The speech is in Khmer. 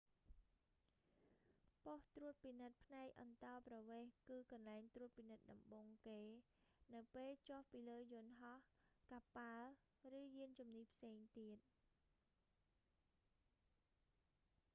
ប៉ុស្ដិ៍ត្រួតពិនិត្យផ្នែកអន្តោប្រវេសន៍ គឺកន្លែងត្រួតពិនិត្យដំបូងគេ នៅពេលចុះពីលើយន្តហោះ កប៉ាល់ ឬយានជំនិះផ្សេងទៀត